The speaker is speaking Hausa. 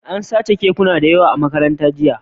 An sace kekuna da yawa a Makarantar, jiya